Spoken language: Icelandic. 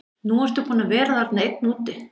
Nú ertu búinn að vera þarna einn úti.